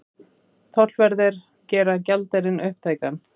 Tollverðir gera gjaldeyrinn upptækan